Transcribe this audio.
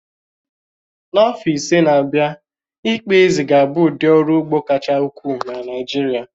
N'afọ ise n'abia, ị́kpà ézí ga-abụ ụdị ọrụ ugbo kacha ukwuu na Naịjirịa.